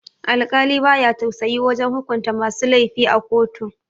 Alkali baya tausayi wajan hukunta masu laifi a kotu